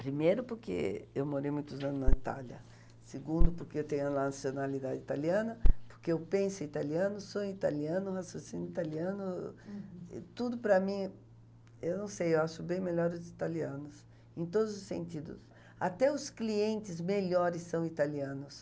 primeiro porque eu morei muitos anos na Itália, segundo porque eu tenho a nacionalidade italiana porque eu penso em italiano, sou em italiano, raciocino italiano, tudo para mim, eu não sei, eu acho bem melhor os italianos em todos os sentidos, até os clientes melhores são italianos